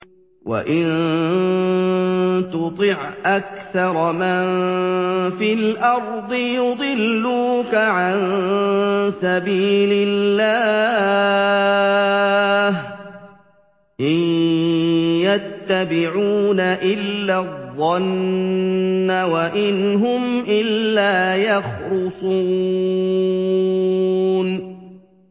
وَإِن تُطِعْ أَكْثَرَ مَن فِي الْأَرْضِ يُضِلُّوكَ عَن سَبِيلِ اللَّهِ ۚ إِن يَتَّبِعُونَ إِلَّا الظَّنَّ وَإِنْ هُمْ إِلَّا يَخْرُصُونَ